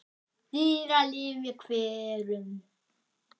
Dýralíf í hverum